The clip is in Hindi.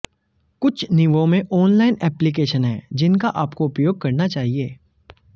कुछ नींवों में ऑनलाइन एप्लिकेशन हैं जिनका आपको उपयोग करना चाहिए